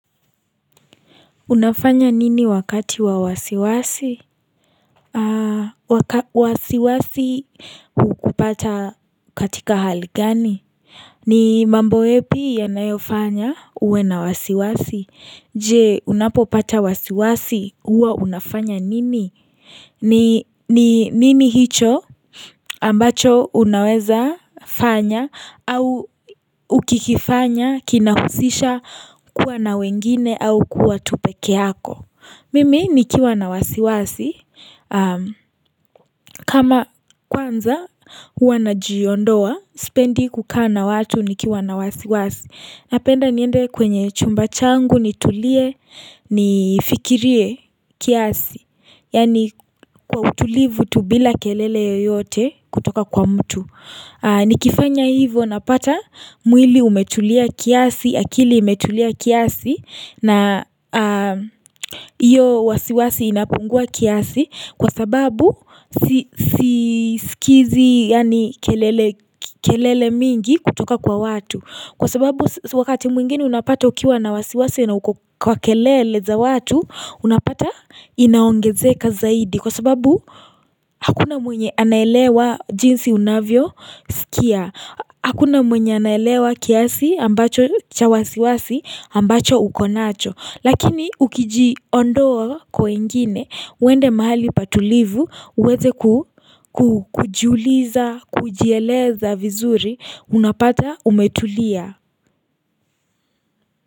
Unafanya nini wakati wa wasiwasi? Waka wasiwasi hukupata katika hali gani? Ni mambo yepi yanayofanya uwe na wasiwasi, je unapopata wasiwasi huwa unafanya nini? Ni nini hicho ambacho unaweza fanya au ukikifanya kinahusisha kuwa na wengine au kuwa tu pekeako Mimi nikiwa na wasiwasi, kama kwanza huwa najiondoa, sipendi kukaa na watu nikiwa na wasiwasi. Napenda niende kwenye chumba changu nitulie, nifikirie kiasi, yaani kwa utulivu tu bila kelele yoyote kutoka kwa mtu. Nikifanya hivo napata mwili umetulia kiasi, akili imetulia kiasi na hiyo wasiwasi inapungua kiasi kwa sababu sisikizi yaani kelele kelele mingi kutoka kwa watu. Kwa sababu wakati mwingine unapata ukiwa na wasiwasi na uko kwa kelele za watu unapata inaongezeka zaidi Kwa sababu hakuna mwenye anaelewa jinsi unavyosikia Hakuna mwenye anaelewa kiasi ambacho cha wasiwasi ambacho uko nacho Lakini ukijiondoa kwa wengine uende mahali pa tulivu uweze ku kujiuliza kujieleza vizuri unapata umetulia.